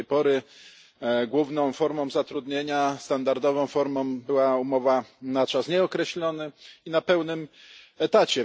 Do tej pory główną formą zatrudnienia, standardową formą, była umowa na czas nieokreślony i na pełny etat.